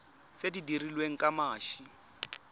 tse di dirilweng ka mashi